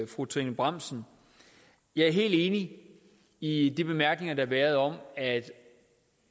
fru trine bramsen jeg er helt enig i de bemærkninger der har været om at